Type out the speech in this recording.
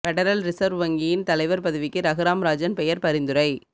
federal Reserve வங்கியின் தலைவர் பதவிக்கு ரகுராம் ராஜன் பெயர் பரிந்துரை